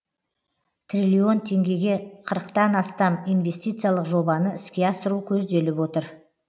триллион теңгеге қырықтан астам инвестициялық жобаны іске асыру көзделіп отыр